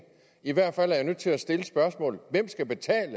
i hvert fald er jeg nødt til at stille spørgsmålet hvem skal betale